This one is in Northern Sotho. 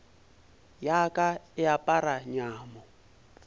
ya ka e apara nyamo